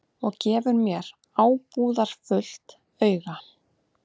Og gefur mér ábúðarfullt auga.